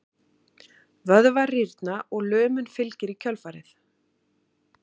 Vöðvar rýrna og lömun fylgir í kjölfarið.